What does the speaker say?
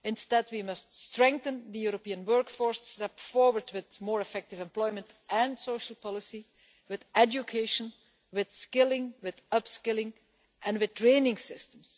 Instead we must strengthen the European workforce and step forward with more effective employment and social policy, with education, with skilling, with upskilling and with training systems.